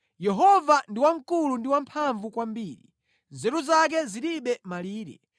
Yehova ndi wamkulu ndi wamphamvu kwambiri; nzeru zake zilibe malire.